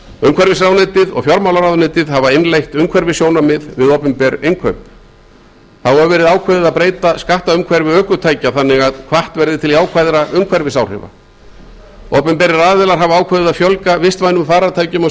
umhverfisráðuneytið og fjármálaráðuneytið hafa innleitt umhverfissjónarmið við opinber innkaup þá hefur verið ákveðið að breyta skattaumhverfi ökutækja þannig að hvatt verði til jákvæðra umhverfisáhrifa opinberir aðilar hafa ákveðið að fjölga vistvænum farartækjum á